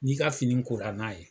N'i ka fini kora n'a ye